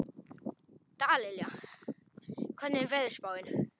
Dallilja, hvernig er veðurspáin?